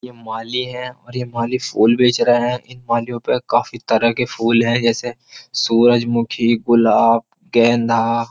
ये माली है और ये माली फूल बेच रहे हैं इन मालियों पर काफी तरह के फूल हैं जैसे सूरजमुखी गुलाब गेंदा।